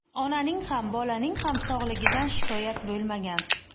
Onaning ham, bolaning ham sog‘ligidan shikoyat bo‘lmagan.